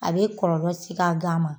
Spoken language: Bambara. A be kɔlɔlɔ si k'a gan ma